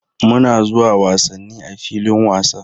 Muna zuwa wasanni a filin wasa.